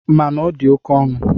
Mana ọ dị oke ọnụ.